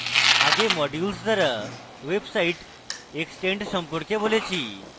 আগে modules দ্বারা website extend সম্পর্কে বলেছি